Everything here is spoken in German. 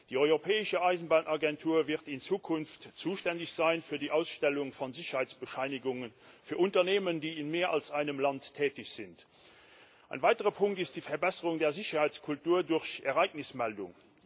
Die Europäische Eisenbahnagentur wird in Zukunft für die Ausstellung von Sicherheitsbescheinigungen für Unternehmen, die in mehr als einem Land tätig sind, zuständig sein. Ein weiterer Punkt ist die Verbesserung der Sicherheitskultur durch Ereignismeldung.